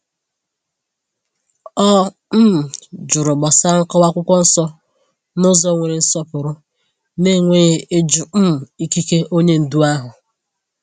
O um jụrụ gbasara nkọwa akwụkwọ nsọ n’ụzọ nwere nsọpụrụ, na-enweghị ịjụ um ikike onye ndu ahụ.